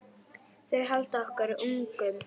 Þau halda okkur ungum.